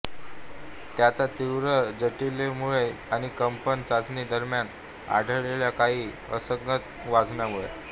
त्याच्या तीव्र जटिलतेमुळे आणि कंपन चाचणी दरम्यान आढळलेल्या काही असंगत वाचनांमुळे